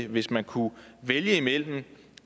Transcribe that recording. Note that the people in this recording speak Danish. hvis man kunne vælge mellem